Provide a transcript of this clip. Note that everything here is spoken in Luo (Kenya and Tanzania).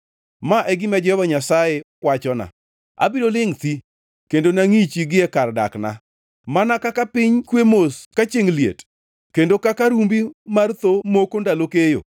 Ma e gima Jehova Nyasaye wachona: Abiro lingʼ thi kendo nangʼichi gie kar dakna mana, kaka piny kwe mos ka chiengʼ liet kendo kaka rumbi mar tho moko ndalo keyo.